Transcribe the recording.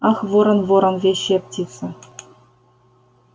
ах ворон ворон вещая птица